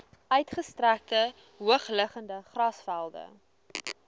uitgestrekte hoogliggende grasvelde